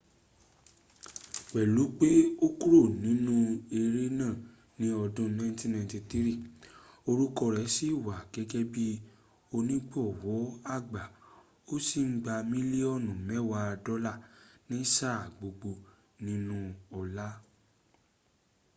pẹ̀lú pé ó kúrò nínú eré náà ni ọdún 1993 orúkọ rẹ̀ sí wà gẹ́gẹ́ bí onígbọ̀wọ́ àgbà ó sìn ń gba mílíọ̀nù mẹ́wàá dọ́là ní sáà gbogbo nínú ọlạ́